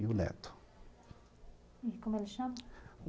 E um neto. E como ele chama?